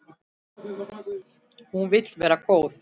Hún vill vera góð.